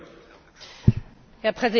Herr Präsident, Herr Kommissar!